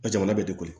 A jamana bɛ de kojugu